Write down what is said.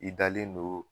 I dalen don